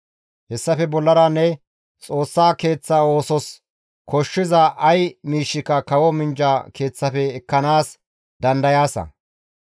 Hessafe bollara ne Xoossa Keeththa oosos koshshiza ay miishshika kawo minjja keeththafe ekkanaas dandayaasa.